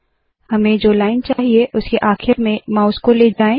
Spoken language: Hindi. हमें जो लाइन चाहिए उसके आखिर में माउस को ले जाए